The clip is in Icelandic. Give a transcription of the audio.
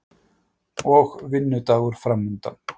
Og vinnudagur framundan.